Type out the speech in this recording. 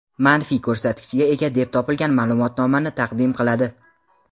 manfiy ko‘rsatkichga ega deb topilgan ma’lumotnomani taqdim qiladi.